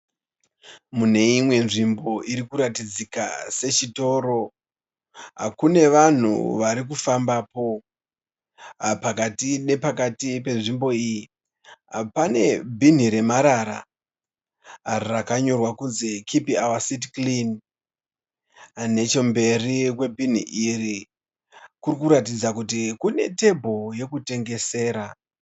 Mune imwe nzvimbo iri kuratidzika sechitoro kune vanhu vari kufambapo. Pakati nepakati penzvimbo iyi pane. bhinhi remarara rakanyorwa kunzi "keep our city clean". Nechemberi kwebhinhi iri kuri kuratidza kuti kune tebho yokutengesera.